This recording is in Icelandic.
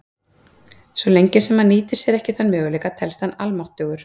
Svo lengi sem hann nýtir sér ekki þann möguleika, telst hann almáttugur.